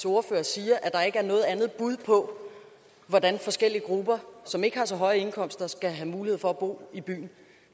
ordfører siger at der ikke er noget andet bud på hvordan forskellige grupper som ikke har så høje indkomster skal have mulighed for at bo i byen